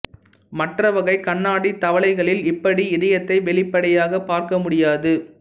மற்ற வகை கண்ணாடித் தவளைகளில் இப்படி இதயத்தை வெளிப்படையாகப் பார்க்க முடியாது